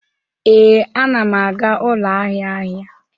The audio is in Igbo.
Ee, anam aga ụlọ ahịa ahịa.